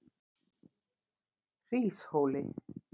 Hríshóli